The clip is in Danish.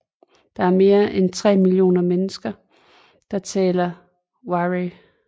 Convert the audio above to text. Der er mere end 3 millioner mennesker som talerer Waray